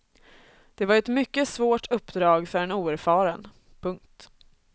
Det var ett mycket svårt uppdrag för en oerfaren. punkt